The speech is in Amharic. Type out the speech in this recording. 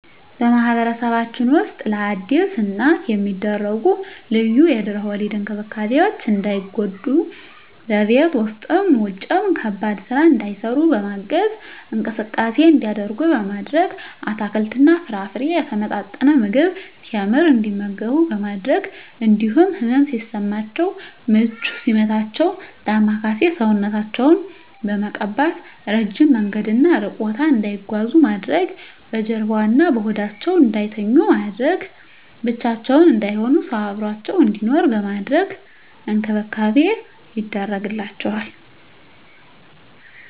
በማህበረሰባችን ውስጥ ለአዲስ እናት የሚደረጉ ልዩ የድህረ ወሊድ እንክብካቤዎች እንዳይጎዱ በቤት ውስጥም ውጭም ከባድ ስራ እንዳይሰሩ በማገዝ፣ እንቅስቃሴ እንዲያደርጉ ማድረግ፣ አትክልትና ፍራፍሬ፣ የተመጣጠነ ምግብ፣ ቴምር እንዲመገቡ በማድረግ እንዲሁም ህመም ሲሰማቸው ምች ሲመታቸው ዳማከሴ ሰውነታቸውን በመቀባት፣ እረጅም መንገድና እሩቅ ቦታ እንዳይጓዙ ማድረግ፣ በጀርባዋ እና በሆዳቸው እንዳይተኙ በማድረግ፣ ብቻቸውን እንዳይሆኑ ሰው አብሮአቸው እንዲኖር በማድረግ እንክብካቤ ይደረግላቸዋል።